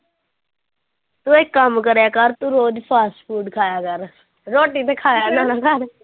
ਤੂੰ ਇੱਕ ਕੰਮ ਕਰਿਆ ਕਰ ਤੂੰ ਰੋਜ਼ fast food ਖਾਇਆ ਕਰ ਰੋਟੀ ਤੇ ਖਾਇਆ ਨਾ ਨਾ ਕਰ